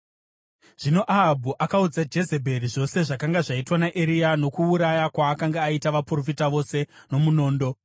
Zvino Ahabhu akaudza Jezebheri zvose zvakanga zvaitwa naEria nokuuraya kwaakanga aita vaprofita vose nomunondo.